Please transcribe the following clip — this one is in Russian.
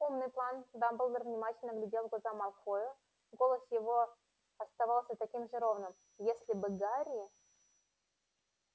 умный план дамблдор внимательно глядел в глаза малфою голос его оставался таким же ровным если бы гарри